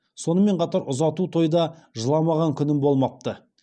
сонымен қатар ұзату тойда жыламаған күнім болмапты